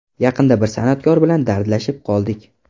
Yaqinda bir san’atkor bilan dardlashib qoldik.